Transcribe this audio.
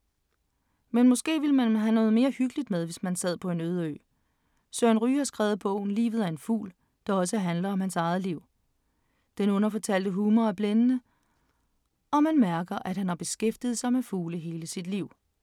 Men måske ville man have noget mere hyggeligt med, hvis man sad på en øde ø … Søren Ryge har skrevet bogen, Livet er en fugl, der også handler om hans eget liv. Den underfortalte humor er blændende, og man mærker, at han har beskæftiget sig med fugle hele sit liv.